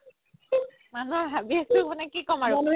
মানুহৰ আছো মানে কি ক'ম আৰু